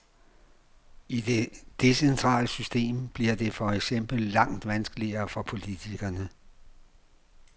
I det decentrale system bliver det for eksempel langt vanskeligere for politikerne.